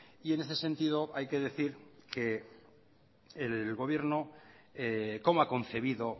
y en este sentido hay que decir que el gobierno cómo ha concebido